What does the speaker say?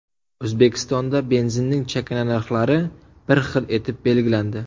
O‘zbekistonda benzinning chakana narxlari bir xil etib belgilandi.